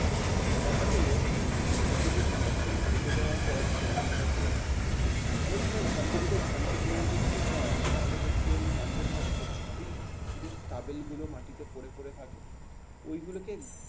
ন্যাড়াটা হল জমিতে যে ফসল কেটে দেওয়ার পর যে অংশটা থাকে। অনেক সময় ধান জমিতে ধান কেটে নেওয়ার পর যদি যান তাহলে দেখবেন মাঠের মধ্যে ওই যে তাবেল গুলো মাটিতে পড়ে পড়ে থাকে। ঐগুলোকে